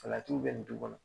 Salatiw bɛ nin du kɔnɔ